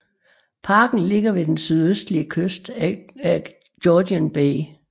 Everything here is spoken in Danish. Parken ligger ved den sydøstlige kyst af Georgian Bay